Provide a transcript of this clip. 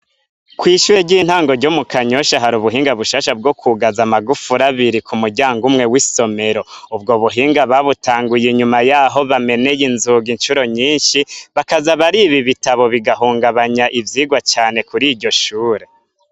kw’ishuri ry'intango ryo Mukanyosha hari ubuhinga bushasha bwokugaza amagufuri abiri ku muryango umwe w'isomero ubwo buhinga babutanguye inyuma yaho bameneye inzugi incuro nyishi bakaza bariba ibitabo bigahungabanya ivyirwa cane kuriryo shure.